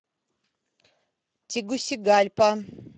тегусигальпа